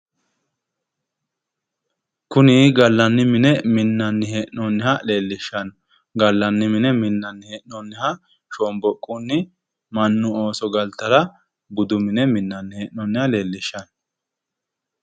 Kuni gallanni mine minnanni hee'noonniha leellishanno shomboqqotenni mannu ooso galtara budu mine minnanni hee'noonniha leellishanno